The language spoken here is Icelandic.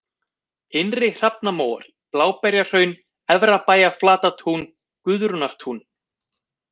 Innri-Hrafnamóar, Bláberjahraun, Efrabæjarflatatún, Guðrúnartún